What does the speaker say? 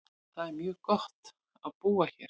Það er mjög gott á búa hér.